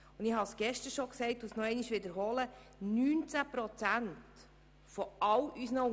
19 Prozent von allen Unternehmungen im Kanton